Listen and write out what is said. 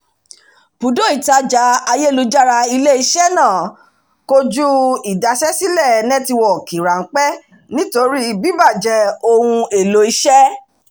bùdó ìtajà ayélujára ile-iṣẹ́ náà kojú ìdaṣẹ́sílẹ̀ nẹ́tíwọ̀kì ráḿpẹ́ nítorí bíbàjẹ́ ohun-èlò iṣẹ́